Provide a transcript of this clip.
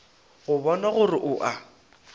go bona gore o a